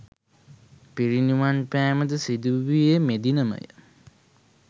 පිරිනිවන් පෑමද සිදුවූයේ මෙදිනම ය.